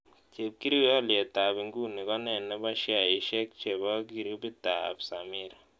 Chepkirui alyetab inguni kone ne po sheaisiek che po kiirubiitap sameer